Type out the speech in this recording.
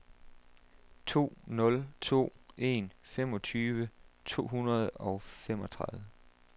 to nul to en femogtyve to hundrede og femogtredive